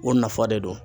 O nafa de don